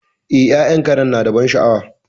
E, ya'yan Karen nada ban sha'awa.